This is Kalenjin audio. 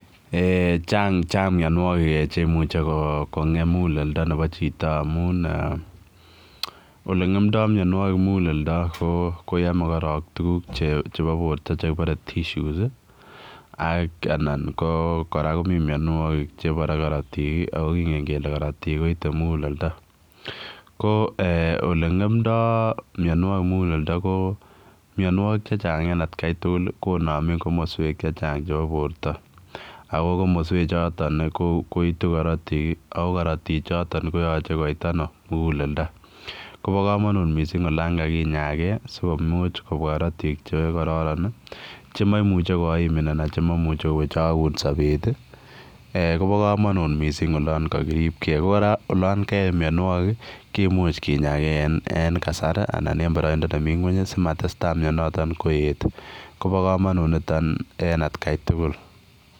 Eeh chaang mianwagik cheimuche kongem muguleldo nebo chitoo amuun ole ngemndai mianwagik muguleldo ko koyame korong tuguuk chebo borto chekibare [tissues] ii ak anan ko kora komii mianwagik chebo karotik ako kingen kele karotiik koite muguleldo ko eeh ole ngemndai mianwagik muguleldo mianwagik en at Kai tugul ko nameen komosweek che chaang chebo borto ako komosweek chotoon koitu karotiik ako karotiik chotoon koyachei koit ano muguleldo koba kamanuut missing olaan kakinyagei sikomuuch korotiik che kororon chemamuchei koimin anan kowechaweech sabeet ii eeh kobaa kamanuut missing olaan kakiriib gei ko kora olaan kabwa mianwagik komuuch kinyagei en kasaar asimatestai koyeet kobaa kamanuut nitoon en at gai tugul.